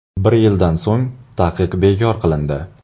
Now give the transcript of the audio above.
Bir yildan so‘ng taqiq bekor qilindi.